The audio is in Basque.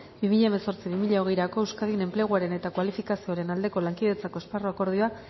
bi mila hemezortzi bi mila hogeirako euskadin enpleguaren eta kualifikazioaren aldeko lankidetzako esparru akordioa